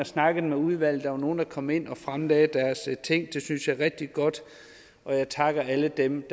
snakket med udvalget der var nogle der kom ind og fremlagde deres ting det synes jeg er rigtig godt jeg takker alle dem